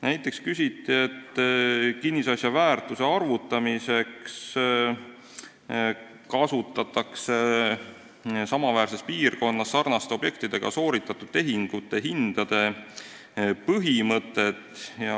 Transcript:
Näiteks küsiti, et kinnisasja väärtuse arvutamiseks kasutatakse samaväärses piirkonnas sarnaste objektidega sooritatud tehingute hindade põhimõtet.